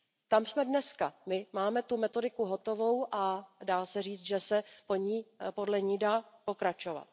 Tam jsme dneska, my máme tu metodiku hotovou a dá se říci, že se podle ní dá pokračovat.